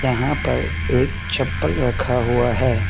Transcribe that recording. यहां पर एक चप्पल रखा हुआ है।